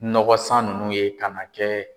Nɔgɔ san nunnu ye ka n'a kɛ